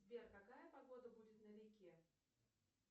сбер какая погода будет на реке